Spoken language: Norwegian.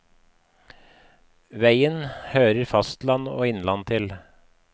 Veien hører fastland og innland til.